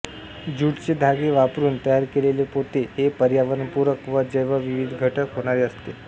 ज्यूटचे धागे वापरून तयार केलेले पोते हे पर्यावरणपूरक व जैवविघटित होणारे असते